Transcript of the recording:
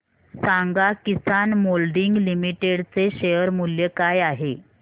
सांगा Kisan moulding limited चे share मूल्य काय आहे